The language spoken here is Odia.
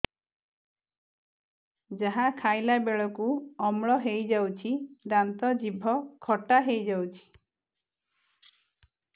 ଯାହା ଖାଇଲା ବେଳକୁ ଅମ୍ଳ ହେଇଯାଉଛି ଦାନ୍ତ ଜିଭ ଖଟା ହେଇଯାଉଛି